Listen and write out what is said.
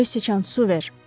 Göy sıçan, su ver.